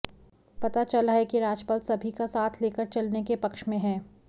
पता चला है कि राजपाल सभी का साथ लेकर चलने के पक्ष में हैं